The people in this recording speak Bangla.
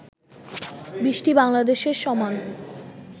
২০টি বাংলাদেশের সমান